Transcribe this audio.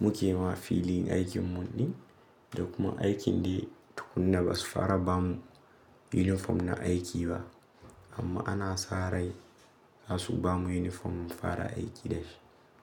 mu ke ma filin aikin mun ne, da kuma aikin dai tukuna ba su fara ba mu yunifom na aiki ba amma ana sa rai za su bamu yunifom mu fara aiki da shi.